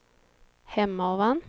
Hemavan